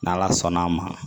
N' ala sɔnn'a ma